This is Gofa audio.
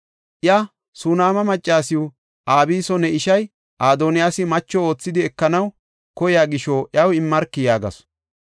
Iya, “Sunaama maccasiw Abiso ne ishay Adoniyaasi macho oothidi ekanaw koyiya gisho iyaw immarki” yaagasu.